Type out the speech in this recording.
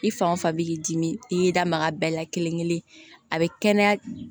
I fan o fan b'i dimi i y'i da maga bɛɛ la kelen kelen a bɛ kɛnɛya